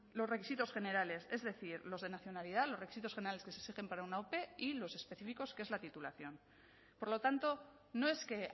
los requisitos generales es decir los de nacionalidad los requisitos generales que se exigen para una ope y los específicos que es la titulación por lo tanto no es que